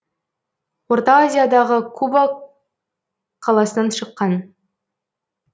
орта азиядағы куба қаласынан шыққан